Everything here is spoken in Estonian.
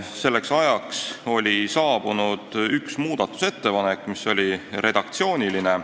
Selleks ajaks oli saabunud üks muudatusettepanek, mis oli redaktsiooniline.